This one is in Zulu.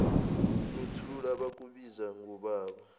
nothula bakubiza ngobaba